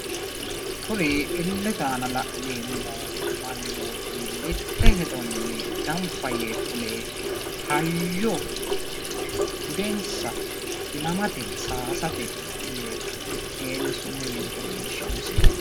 Kuni illete aana la'neemmo mannooti mitte hedonni gambba yee fule hayyonna budenssa ilamate saayisate yee miteenni sumuu yinota leellishshanno misileeti.